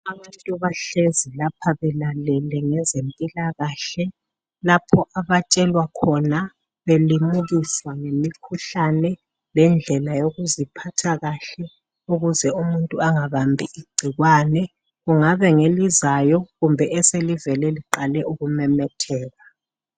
Abantu bahlezi lapha belalele ngezempilakahle lapho abatshelwa khona belimukiswa ngemikhuhlane lendlela yokuziphatha kahle ukuze umuntu angabambi igcikwane, kungaba ngelizayo kumbe eselivele liqale ukumemetheka.